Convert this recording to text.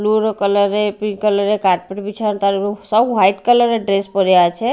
Blue colour -এর pink colour -এর carpet বিছানো তার উপরে সব হোয়াইট কালারের -এর ড্রেস পইরে আছে।